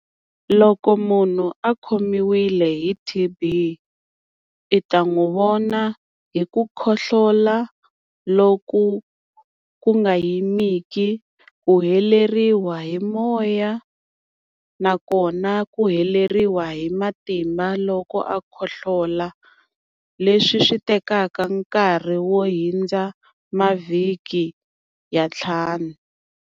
Loko munhu a khomiwile hi T_B u ta n'wi vona hi ku khohlola loku ku nga yimiki. Ku heleriwa hi moya na kona ku heleriwa hi matimba loko a khohlola, leswi swi tekaka nkarhi wo hundza mavhiki ya ntlhanu.